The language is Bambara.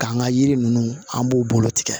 K'an ka yiri ninnu an b'u bolo tigɛ